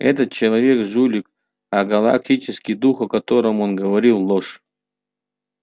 этот человек жулик а галактический дух о котором он говорит ложь